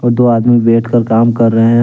और दो आदमी बैठकर काम कर रहे हैं।